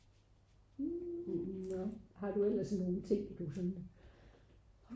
har du ellers nogen ting du sådan?